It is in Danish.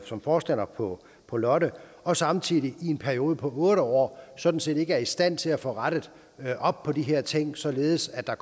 som forstander på på lotte og samtidig i en periode på otte år sådan set ikke er i stand til at få rettet op på de her ting således at der